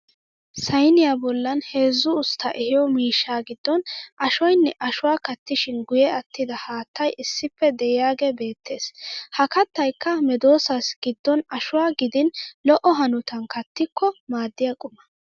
Sayiniya bollan heezzu usttaa ehiyo miishshaa giddon ashoyinne ashuwa kattishin guyye attida haattay issippe de'iyaagee beettes. Ha kattayikka medoossaassi giddon ashuwa gidin lo'o hanotan kattikko maaddiya quma.